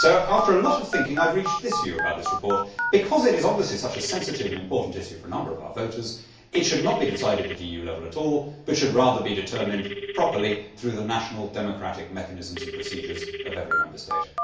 So, after a lot of thinking, I have reached this view about this report because it is obviously such a sensitive and important issue for a number of our voters, it should not be decided at EU level at all, but should rather be determined properly through the national, democratic mechanisms and procedures of every Member State.